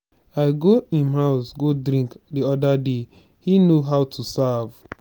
i go im house go drink the other day he know how to serve.